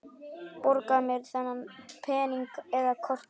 Borga með pening eða korti?